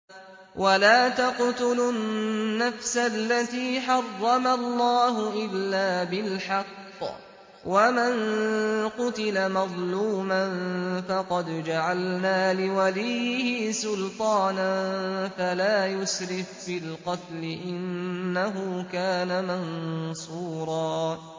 وَلَا تَقْتُلُوا النَّفْسَ الَّتِي حَرَّمَ اللَّهُ إِلَّا بِالْحَقِّ ۗ وَمَن قُتِلَ مَظْلُومًا فَقَدْ جَعَلْنَا لِوَلِيِّهِ سُلْطَانًا فَلَا يُسْرِف فِّي الْقَتْلِ ۖ إِنَّهُ كَانَ مَنصُورًا